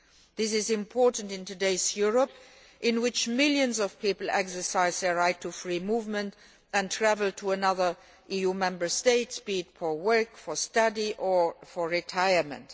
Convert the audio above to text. This is important in today's Europe in which millions of people exercise their right to free movement and travel to other EU Member States, be it to work, for study or for retirement.